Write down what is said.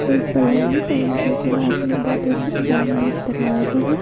एक पलंग है पलंग के ऊपर आदमी बैठे हैं सामने एक दरवाजा है।